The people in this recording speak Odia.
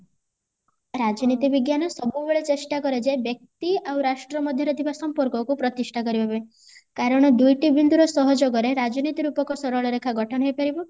ରାଜନୀତି ବିଜ୍ଞାନ ସବୁବେଳେ ଚେଷ୍ଟା କରେ ଯେ ବ୍ୟକ୍ତି ଆଉ ରାଷ୍ଟ୍ର ମଧ୍ୟରେ ଥିବା ସମ୍ପର୍କକୁ ପ୍ରତିଷ୍ଠା କରିବା ପାଇଁ କାରଣ ଦୁଇଟି ବିନ୍ଦୁର ସହଯୋଗରେ ରାଜନୀତି ରୂପକ ସରଳରେଖା ଗଠନ ହେଇ ପାରିବ